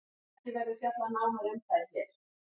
Ekki verður fjallað nánar um þær hér.